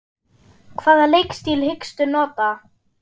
Hvaða leikstíl hyggstu nota?